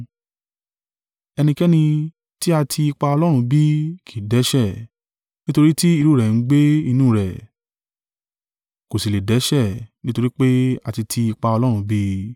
Ẹnikẹ́ni tí a ti ipa Ọlọ́run bí, kì í dẹ́ṣẹ̀; nítorí tí irú rẹ̀ ń gbé inú rẹ̀, kò sì lè dẹ́ṣẹ̀ nítorí pé a ti ti ipa Ọlọ́run bí i.